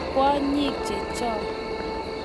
Kwonyik che chio.